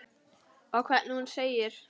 Og hvernig hún segir